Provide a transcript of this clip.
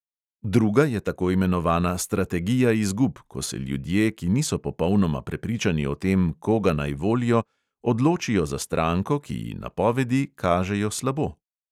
Druga je tako imenovana strategija izgub, ko se ljudje, ki niso popolnoma prepričani o tem, koga naj volijo, odločijo za stranko, ki ji napovedi kažejo slabo.